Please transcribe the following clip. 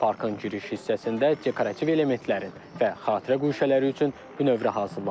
Parkın giriş hissəsində dekorativ elementlərin və xatirə guşələri üçün bünövrə hazırlanır.